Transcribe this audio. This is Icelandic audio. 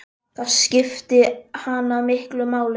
Það skipti hana miklu máli.